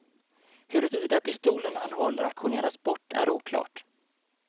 Huruvida pistolen han håller auktioneras bort är oklart.